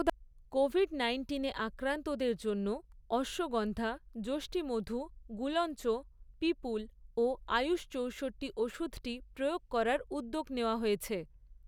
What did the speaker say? Covid নাইন্টিনে আক্রান্তদের জন্য অর্শগন্ধা, যষ্ঠিমধু, গুলঞ্চ, পিপুল ও আয়ুষ চৌষট্টি ওষুধটি প্রয়োগ করার উদ্যোগ নেওয়া হয়েছে।